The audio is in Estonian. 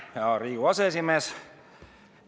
Aitäh, hea Riigikogu aseesimees!